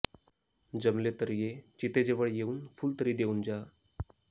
जमले तर ये चितेजवळ येऊन फुल तरी देऊन जा